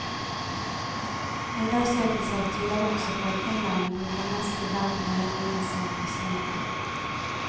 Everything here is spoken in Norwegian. Undersøkelser tyder også på at inderne bruker mest i verden av lønningene sine på kino.